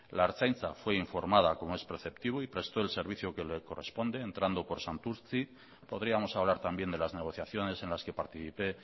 la ertzaintza fue informada como es preceptivo y prestó el servicio que le corresponde entrando por santurtzi podríamos hablar también de las negociaciones en las que participé